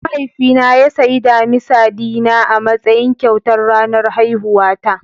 Mahaifina ya sayi damisa dina a matsayin kyautar ranar haihuwata.